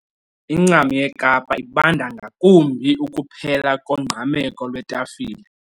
Incam yeKapa ibanda ngakumbi. ukuphela kongqameko lwetafile